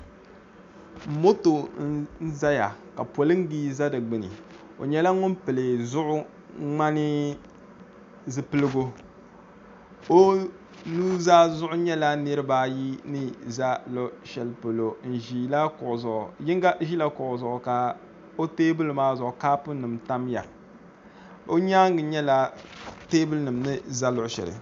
moto n-zaya ka poliŋa za di gbuni o nyɛla ŋuni pili zuɣu ŋmani zupiligu o nuzaa zuɣu nyɛla niriba ayi ni za luɣ' shɛli polo n-ʒila kuɣu zuɣu yino ʒila kuɣu zuɣu ka o teebuli maa zuɣu ka koopunima tamya o nyaaŋa nyɛla teebuya ni za luɣ' shɛli